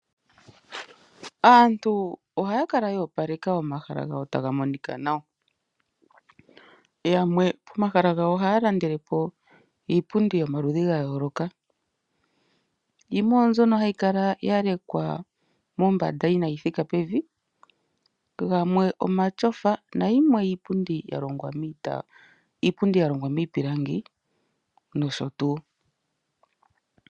Aantu oha yakala ya opaleka omahala gawo ta ga monika nawa, yamwe pomahala gawo oha ya landelepo iipundi yomaludhi ga yooloka yimwe oyo mbyono ha yikala ya lekwa mombanda inaa yithika pevi, gamwe omatyofa na yimwe iipundi yalongwa miipilangi nosho tuu.